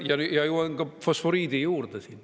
Jõuan ka fosforiidi juurde.